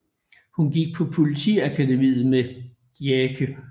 Hun gik på politiakademiet med Jake